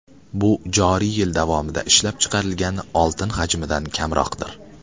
Bu joriy yil davomida ishlab chiqarilgan oltin hajmidan kamroqdir.